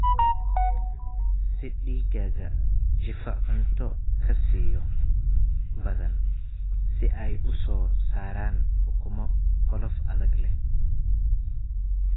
Sii digaagga jiifa cunto kasiyo badan si ay u soo saaraan ukumo qolof adag leh.